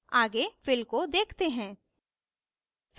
आगे fill को देखते हैं